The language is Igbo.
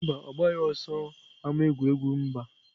Mba, ọ gbaghị ọsọ n'ámá egwuregwu mba.